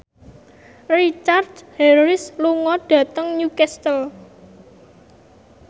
Richard Harris lunga dhateng Newcastle